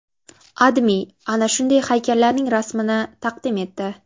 AdMe ana shunday haykallarning rasmini taqdim etdi.